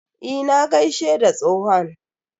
Eh, na gaishe da tsohon.